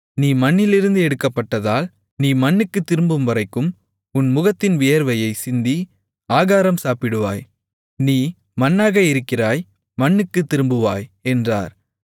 நீ மண்ணிலிருந்து எடுக்கப்பட்டதால் நீ மண்ணுக்குத் திரும்பும்வரைக்கும் உன் முகத்தின் வியர்வையைச் சிந்தி ஆகாரம் சாப்பிடுவாய் நீ மண்ணாக இருக்கிறாய் மண்ணுக்குத் திரும்புவாய் என்றார்